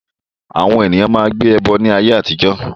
Àwọn èèyàn máa n gbé ẹbọ ní ayé àtijọ́